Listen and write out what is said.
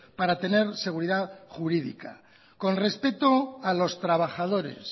para tener seguridad jurídica con respeto a los trabajadores